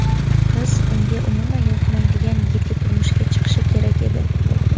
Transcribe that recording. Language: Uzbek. Qiz unga umuman yoqmaydigan yigitga turmushga chiqishi kerak edi.